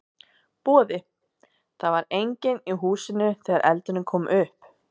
Boði: Það var enginn í húsinu þegar eldurinn kom upp?